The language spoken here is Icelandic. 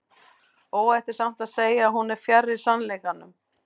óhætt er samt að segja að hún er fjarri sannleikanum